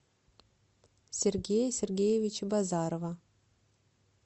сергея сергеевича базарова